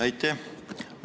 Aitäh!